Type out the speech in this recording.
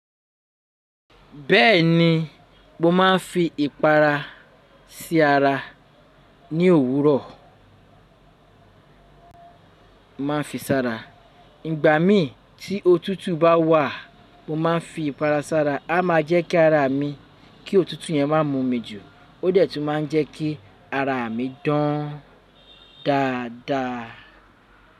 Bẹ́ẹ̀ni, mo máà ń fi ìpara sí ara ní òwúrọ̀. Mo máa ń fi sára. Ìgbà mii tí òtútù bá wà, mo máa ń fi ìpara sára. A máa jẹ́ kí ara mi, kí òtútù yẹn má mú mi jù. Ó detú má ń jẹ́kí ara mi dán dáadáa.